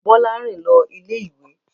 Bọ́lá rìn lọ ilé-ìwé.